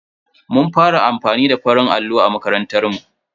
Mun fara amfani da farin allo a makarantar mu.